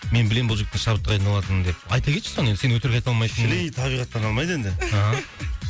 мен білемін бұл жігіттің шабытты қайдан алатынын деп айта кетші соны енді сен өтірік айта алмайтын шіли табиғаттан алмайды енді ааа